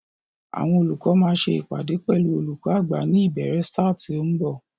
Àwọn olùkọ́ máa ṣe ìpàdé pẹ̀lú olùkó àgbà ní ìbéèrè ṣáà tí ó ń bọ̀.